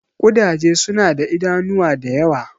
Ƙudaje suna da idanuwa da yawa.